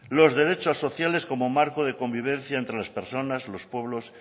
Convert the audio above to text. los derechos sociales como marco de convivencia entre las personas los pueblos